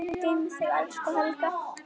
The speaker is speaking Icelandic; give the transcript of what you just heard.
Guð geymi þig, elsku Helga.